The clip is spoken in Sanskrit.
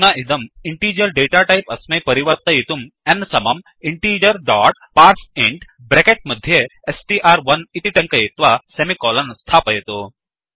अधुना इदं इण्टीजर् डेटा टैप् अस्मै परिवर्तयितुं n समं इन्टिगर डोट् पार्सेइंट ब्रेकेत् मध्ये स्ट्र्1 इति ट्ङ्कयित्वा सेमिकोलन् स्थापयतु